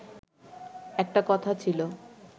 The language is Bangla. একটা কথা ছিল